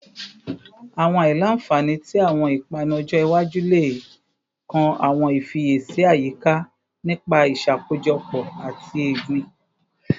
Awọn aila-nfani ti awọn ipanu ọjọ iwaju le kan awọn ifiyesi ayika nipa iṣakojọpọ ati egbin